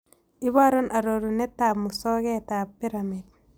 Iborun arorunetap musogetap piramid